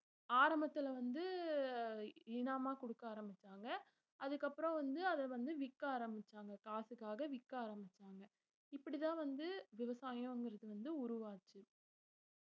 ஆரம்பத்துல வந்து இனாமா குடுக்க ஆரம்பிச்சாங்க அதுக்கப்பறம் வந்து அத வந்து விக்க ஆரம்பிச்சாங்க காசுக்காக விக்க ஆரம்பிச்சாங்க இப்படித்தான் வந்து விவசாயம்ங்கறது வந்து உருவாச்சு